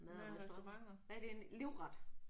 Mad og restauranter. Hvad er din livret?